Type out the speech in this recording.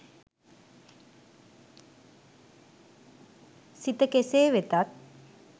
සිත කෙසේ වෙතත්